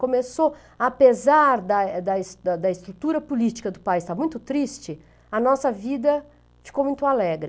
Começou, apesar da da da estrutura política do país estar muito triste, a nossa vida ficou muito alegre.